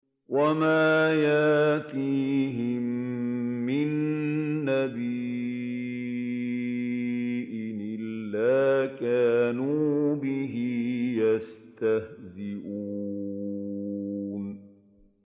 وَمَا يَأْتِيهِم مِّن نَّبِيٍّ إِلَّا كَانُوا بِهِ يَسْتَهْزِئُونَ